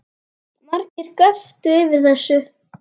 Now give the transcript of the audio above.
Margir göptu yfir þessu